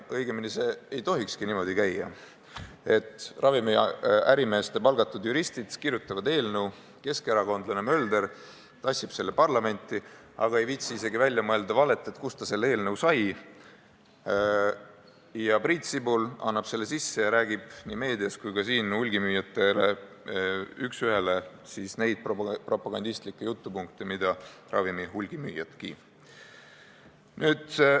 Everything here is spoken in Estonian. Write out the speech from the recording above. Õigemini, see ei tohikski niimoodi käia, et ravimiärimeeste palgatud juristid kirjutavad eelnõu, keskerakondlane Mölder tassib selle parlamenti, aga ei viitsi välja mõelda isegi valet, kust ta selle eelnõu sai, Priit Sibul annab selle eelnõu üle ja kasutab nii meedias kui ka siin üks ühele neid propagandistlikke jutupunkte, mida ravimite hulgimüüjadki.